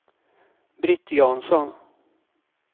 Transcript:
Britt Jansson